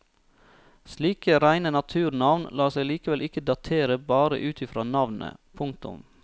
Slike reine naturnavn lar seg likevel ikke datere bare ut i fra navnet. punktum